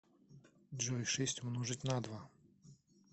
джой шесть умножить на два